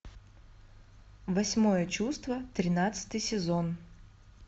восьмое чувство тринадцатый сезон